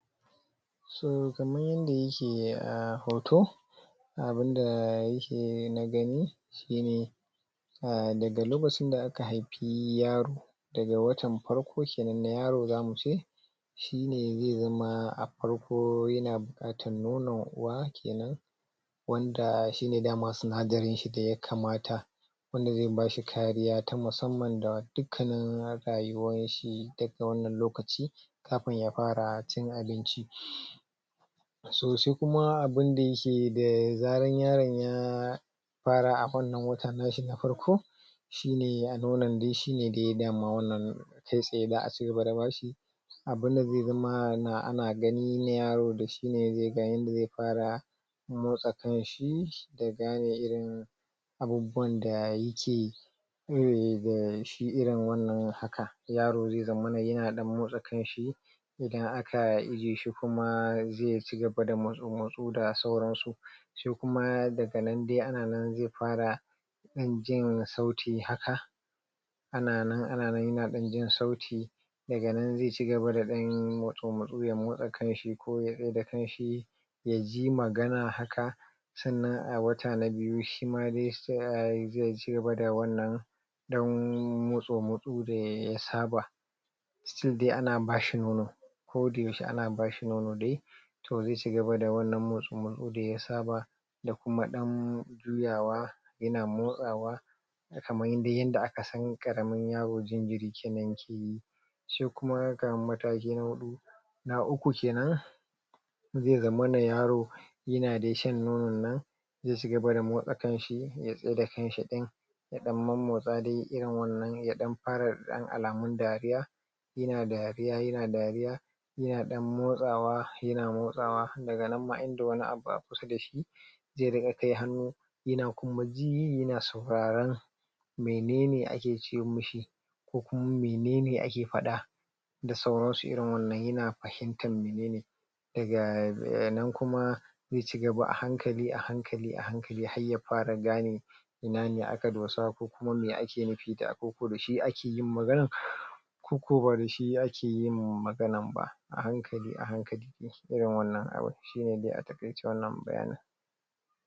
To kaman yanda yake a hoto abunda yake na gani shine um daga lokacin da aka haifi yaro daga watan farko kenan na yaro zamuce shine zai zama a farko yana bukatan nonon uwa kenan wanda shine dama sinadarin shi da yakamata wanda zai bashi kariya ta musamman da dukkanin rayuwan shi daga wannan lokaci kafun ya fara cin abinci. So sai kuma abunda yake yi da zaran yaron ya fara a wannan wata nashi na farko shine a nono shine dai dama wannan kai tsaye za'a cigaba da bashi abunda zai zama ana ganin yaro da shine dai ga yanda ya fara motsa kanshi da gane irin abubuwan da yake koyi da shi irin wannan haka yaro zai zamana yana ɗan motsa kanshi idan aka ajiye shi kuma zai cigaba da mutsu-mutsu da suran su sai kuma daga nan dai anan zai fara ɗan jin sauti haka ana nan ana nan yana ɗan jin sauti daga nan zai cigaba da ɗan mutsu-mutsu ya motsa kanshi ko ya tsaida kan shi yaji magana haka, sannan a wata na biyu shima zai cigaba da wannan ɗan mutsu-mutsa da ya saba still dai ana bashi nono ko da yaushe ana bashi nono dai to zai cigaba da wannan mutsu-mutsu da ya saba da kuma ɗan juyawa yana motsawa kaman dai yanda aka san ƙaramin yaro jinjiri kenan keyi. Shi kuma kaman mataki na huɗu na uku kenan zai zamana yaro yana dai shan nonon nan zai cigaba da motsa kan shi ya tsaida kanshi ɗin ya ɗan mommotsa dai irin wannan ya ɗan fara ɗan alamun dariya yana dariya yana dariya yana ɗan motsawa yana motsawa daga nan ma inda wani abu a kusa dashi zai riƙa kai hannu yana kuma ji yana sauraran menene ake ce mishi ko kuma menene ake faɗa da sauransu irin wannan yana fahimtan menene. Daga nan kuma zai ci gaba a hankali a hankali a hankali har ya fara gane ina ne aka dosa ko kuma me ake nufi da abu ko dashi akeyin maganan koko ba dashi ake yin maganan ba a hankali a hankali yake wannan abun shine dai a taƙaice wannan bayanin.